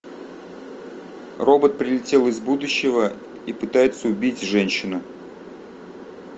робот прилетел из будущего и пытается убить женщину